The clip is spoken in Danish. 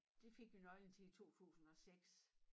Det fik vi nøglen til i 2006